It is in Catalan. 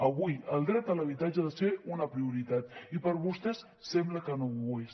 avui el dret a l’habitatge ha de ser una prioritat i per a vostès sembla que no ho és